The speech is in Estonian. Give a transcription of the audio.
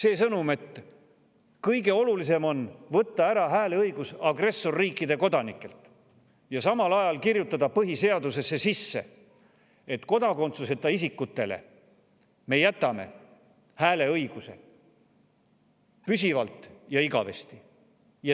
On sõnum, et kõige olulisem on võtta ära hääleõigus agressorriikide kodanikelt ja samal ajal kirjutada põhiseadusesse sisse, et kodakondsuseta isikutele me jätame hääleõiguse püsivalt ja igavesti.